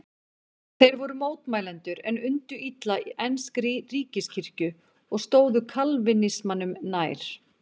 Þeir voru mótmælendur en undu illa enskri ríkiskirkju og stóðu kalvínismanum nær.